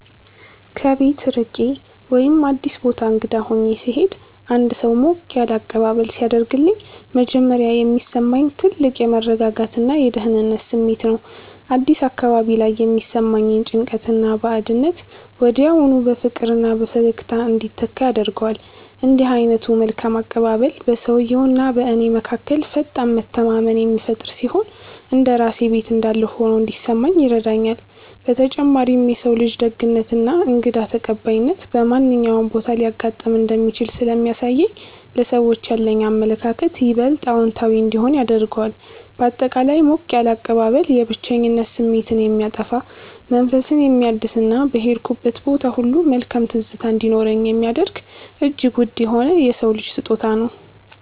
ከቤት ርቄ ወይም አዲስ ቦታ እንግዳ ሆኜ ስሄድ አንድ ሰው ሞቅ ያለ አቀባበል ሲያደርግልኝ መጀመሪያ የሚሰማኝ ትልቅ የመረጋጋትና የደህንነት ስሜት ነው። አዲስ አካባቢ ላይ የሚሰማኝን ጭንቀትና ባዕድነት ወዲያውኑ በፍቅርና በፈገግታ እንዲተካ ያደርገዋል። እንዲህ ዓይነቱ መልካም አቀባበል በሰውየውና በእኔ መካከል ፈጣን መተማመንን የሚፈጥር ሲሆን፣ እንደ ራሴ ቤት እንዳለሁ ሆኖ እንዲሰማኝ ይረዳኛል። በተጨማሪም የሰው ልጅ ደግነትና እንግዳ ተቀባይነት በማንኛውም ቦታ ሊያጋጥም እንደሚችል ስለሚያሳየኝ ለሰዎች ያለኝ አመለካከት ይበልጥ አዎንታዊ እንዲሆን ያደርገዋል። ባጠቃላይ ሞቅ ያለ አቀባበል የብቸኝነት ስሜትን የሚያጠፋ፣ መንፈስን የሚያድስና በሄድኩበት ቦታ ሁሉ መልካም ትዝታ እንዲኖረኝ የሚያደርግ እጅግ ውድ የሆነ የሰው ልጅ ስጦታ ነው።